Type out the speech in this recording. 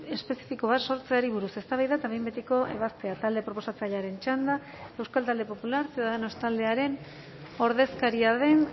espezifiko bat sortzeari buruz eztabaida eta behin betiko ebazpena talde proposatzailearen txanda euskal talde popular ciudadanos taldearen ordezkaria den